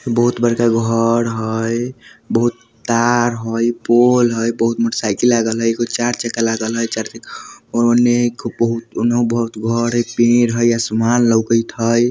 बहुत बड़का घर हई बहुत तार हई पोल हई बहुत मोटरसाइकिल लागल हई एगो चार चक्का लागल हई और चार चक्का उन्हे बहुत एक बहुत घर पेड़ हई और आसमान लउकत ही ।